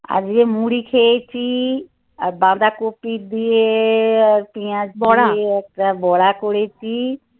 আজকে মুড়ি খেয়েছি. আর বাঁধা কপি দিয়ে আর পেঁয়াজ, বড়া দিয়ে একটা বড়া করেছি.